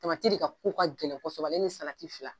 de ka ko ka gɛlɛn kosɛbɛ ale ni salati fila